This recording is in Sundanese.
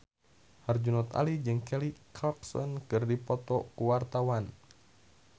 Herjunot Ali jeung Kelly Clarkson keur dipoto ku wartawan